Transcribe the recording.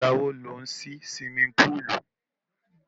Ìgbà wo lò ń sí suwimi púùlù?